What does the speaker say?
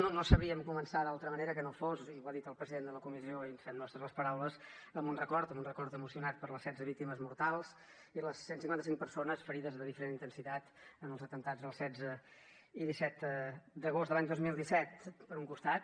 no no sabríem començar d’altra manera que no fos i ho ha dit el president de la comissió i ens fem nostres les paraules amb un record amb un record emocionat per les setze víctimes mortals i les cent i cinquanta cinc persones ferides de diferent intensitat en els atemptats del disset i el divuit d’agost de l’any dos mil disset per un costat